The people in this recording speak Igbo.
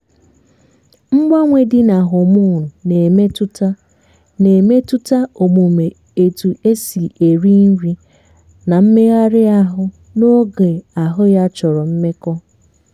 mgbanwe dị ná homonu na emetụta na emetụta omume etu esi eri nri na mmeghari ahụ n'oge ahụ ya chọrọ mmekọ